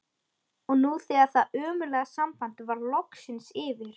Og nú þegar það ömurlega samband var loksins yfir